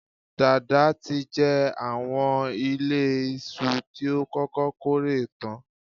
Dàda tí jẹ àwọn ìlé iṣu tí ó kọ́kọ́ kórè tán.